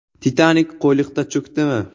“Titanik” Qo‘yliqda cho‘kdimi?